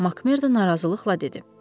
Makmerdo narazılıqla dedi.